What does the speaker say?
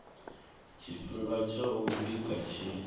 tshifhinga tsha u vhiga tshi